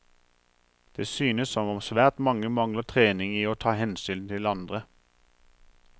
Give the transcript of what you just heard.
Det synes som om svært mange mangler trening i å ta hensyn til andre.